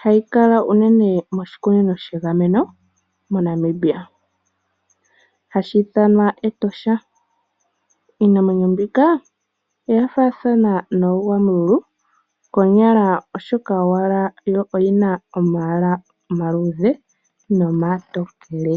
ha yi kala uunene moshikunino shegameno moNamibia, hashi ithanwa Etosha. Iinamwenyo mbika oya faathana noogwamululu konyala, oshoka owala yo oyi na omalwaala omaluudhe nomatokele.